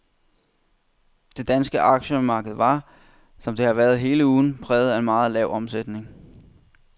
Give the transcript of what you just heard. Det danske aktiemarked var, som det har været hele ugen, præget af meget lav omsætning.